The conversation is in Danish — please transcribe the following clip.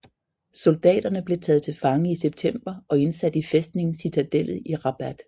Soldaterne blev taget til fange i september og indsat i fæstningen Citadellet i Rabat